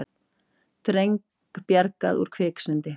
Dreng bjargað úr kviksyndi